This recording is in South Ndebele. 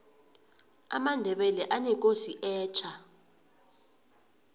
amandebele anekosi etja